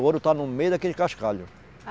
O ouro está no meio daquele cascalho. ah